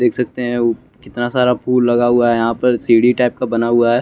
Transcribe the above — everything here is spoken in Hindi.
देख सकते हैं उ कितना सारा फुल लगा हुआ है यहां पर सीढ़ी टाइप का बना हुआ हैं।